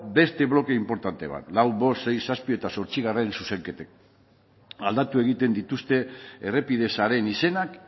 beste bloke inportante bat lau bost sei zazpi eta zortzi zuzenketek aldatu egiten dituzte errepide sareen izenak